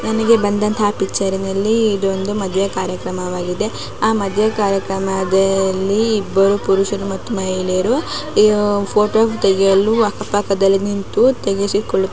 ನನಗೆ ಬಂದ್ ಅಂತ ಪಿಕ್ಚರನಲ್ಲಿ ಇದು ಒಂದು ಮದುವೆ ಕಾರ್ಯಕ್ರಮ ವಾಗಿದೆ ಆ ಮದುವೆ ಕಾರ್ಯಕ್ರಮದಲ್ಲಿ ಇಬ್ಬರು ಪುರುಷರು ಮತ್ತು ಮಹಿಳೆಯರು ಫೋಟೋ ತಗಿಯಲು ಅಕ್ಕ ಪಕ್ಕದಲ್ಲಿ ನಿಂತು ತಗಿಸಿಕೊಳ್ಳ __